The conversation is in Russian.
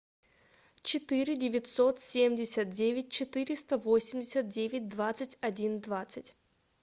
четыре девятьсот семьдесят девять четыреста восемьдесят девять двадцать один двадцать